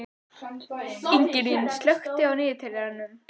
Það komu mjög snubbótt skilaboð um daginn.